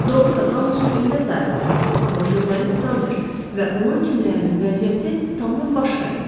Doğrudur, hamı sürgündə sayılırdı, amma jurnalist Rambert və onun kimlərinin vəziyyəti tamam başqa idi.